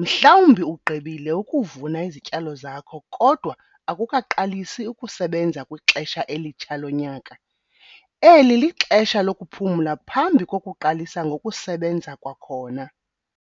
Mhlawumbi ugqibile ukuvuna izityalo zakho kodwa akukaqalisi ukusebenza kwixesha elitsha lonyaka. Eli lixesha lokuphumla phambi kokuqalisa ngokusebenza kwakhona.